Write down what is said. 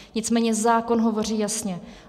Nicméně zákon hovoří jasně.